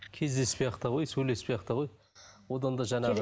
кездеспей ақ та қой сөйлеспей ақ та қой одан да жаңағы